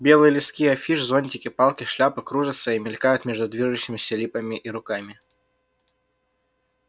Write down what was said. белые листки афиш зонтики палки шляпы кружатся и мелькают между движущимися липами и руками